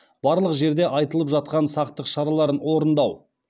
барлық жерде айтылып жатқан сақтық шараларын орындау